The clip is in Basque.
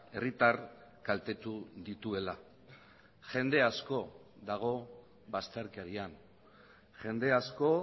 herritar kaltetu dituela jende asko dago bazterkerian jende asko